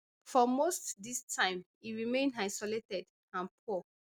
for most dis time e remain isolated and poor